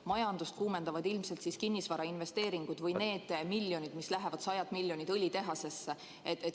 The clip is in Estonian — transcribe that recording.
Majandust kuumendavad ilmselt kinnisvarainvesteeringud või need sajad miljonid, mis lähevad õlitehasesse.